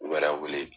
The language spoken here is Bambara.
U wɛrɛ wele